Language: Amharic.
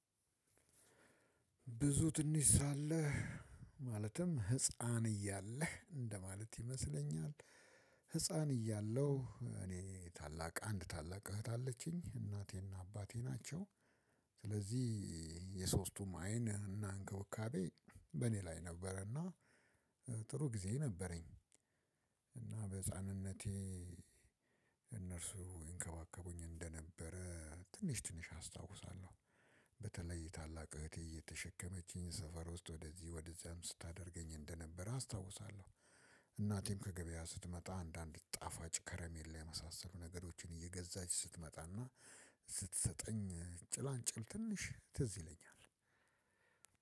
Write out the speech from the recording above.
ብዙ ትንሽ ሳለህ ማለትም ህፃን እያለህ እንደማለት ይመስለኛል። ህፃን እያለሁ እኔ ታላቅ አንድ ታላቅ እህት አለችኝ እናቴና አባቴ ናቸው። ስለዚህ የሶስቱም አይን እና እንክብካቤ በእኔ ላይ ነበረና ጥሩ ጊዜ ነበረኝ። እና በህፃንነቴ እነርሱ ይንከባከቡኝ እንደነበረ ትንሽ ትንሽ አስታውሳለሁ። በተለይ ታላቅ እህቴ እየተሸከመችኝ ሰፈር ውስጥ ወደዚህ ወደዚያም ስታደርገኝ እንደነበር አስታውሳለሁ። እናቴም ከገበያ ስትመጣ አንዳንድ ጣፋጭ ከረሜል ላይ የመሳሰሉ ነገሮችን እየገዛች ስትመጣና ስትሰጠኝ ጭላንጭል ትንሽ ትዝ ይለኛል።